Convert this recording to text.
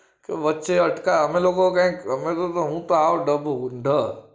વચ્ચે અટકા અમે લોકો કઈ તો અમે તો હું આવો ડબ્બો હું ઢ